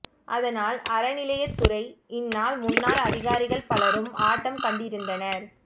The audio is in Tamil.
அதனால் அறநிலையத்துறை இந்நாள் முன்னாள் அதிகாரிகள் பலரும் ஆட்டம் கண்டிருந்தனர்